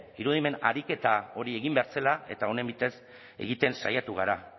irudimen ariketa hori egin behar zela eta honen bitez egiten saiatu gara